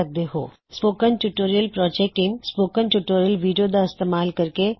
000949 09540956 spoken tutorial project team spoken tutorial video ਦਾ ਇਸਤੇਮਾਲ ਕਰਕੇ ਕਰਕੇਕ